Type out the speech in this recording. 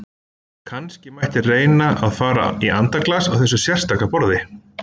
Kannski mætti reyna að fara í andaglas á þessu sérstaka borði!